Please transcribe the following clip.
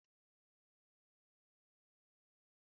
Agaghị m agwa njakịrị ahụ